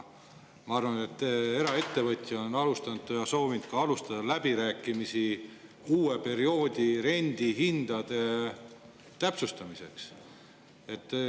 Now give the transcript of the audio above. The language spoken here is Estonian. Ma arvan, et eraettevõtja on alustanud või soovinud alustada läbirääkimisi uue perioodi rendihindade täpsustamiseks.